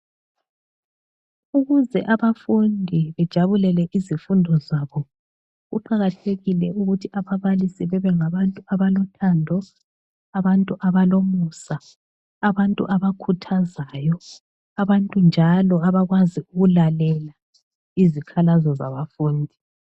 Ukuze abafundi bejabulele izifundo zabo , kuqakathekile ukuthi ababalisi bebe ngabantu abalothando, abantu abalomusa, abantu abakhuthazayo, abantu njalo abakwazi ukulalela izikhalazo zabafundi.